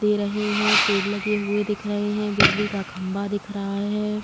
दे रहे हैं। पेड़ लगे हुए दिख रहे हैं। बिजली का खंभा दिखा रहा है।